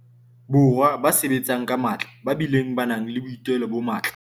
Borwa ba sebetsang ka matla ba bileng ba nang le boitelo bo matla.